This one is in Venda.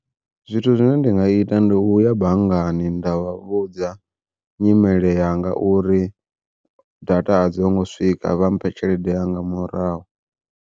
Zwithu zwine ndi nga ita ndi u ya banngani nda vha vhudza nyimele yanga uri data a dzongo swika vha mphe tshelede yanga murahu.